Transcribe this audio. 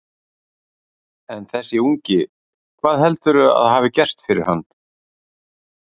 En þessi ungi, hvað heldurðu að hafi gerst fyrir hann?